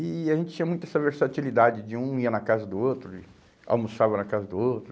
E e a gente tinha muito essa versatilidade de um ia na casa do outro, e almoçava na casa do outro.